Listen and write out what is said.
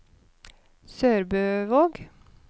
SørbØvåg